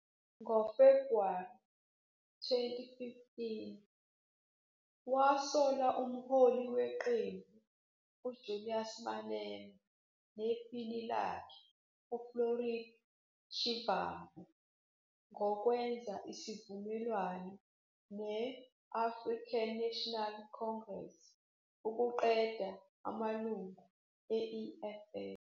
NgoFebhuwari 2015, wasola umholi weqembu uJulius Malema nephini lakhe uFloyd Shivambu ngokwenza isivumelwano ne- African National Congress ukuqeda amalungu e-EFF